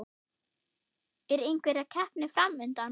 Er einhver keppni fram undan?